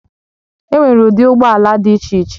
Enwere ụdị ụgbọ ala dị iche iche